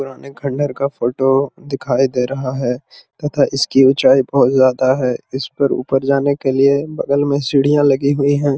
पुराने खंडार का फोटो दिखाई दे रहा है तथा इसकी ऊंचाई बहुत ज्यादा है इस पर ऊपर जाने के लिए बगल में सीढ़ियां लगी हुई हैं।